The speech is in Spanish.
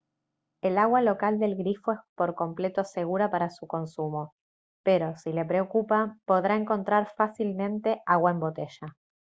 el agua local del grifo es por completo segura para su consumo pero si le preocupa podrá encontrar fácilmente agua en botella